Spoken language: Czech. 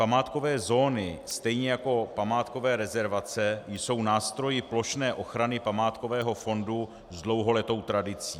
Památkové zóny stejně jako památkové rezervace jsou nástroji plošné ochrany památkového fondu s dlouholetou tradicí.